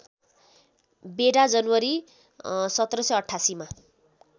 बेडा जनवरी १७८८ मा